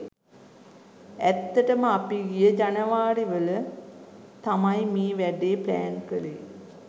ඇත්තටම අපි ගිය ජනවාරි වල තමයි මේ වැඩේ ප්ලෑන් කලේ.